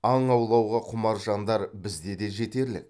аң аулауға құмар жандар бізде де жетерлік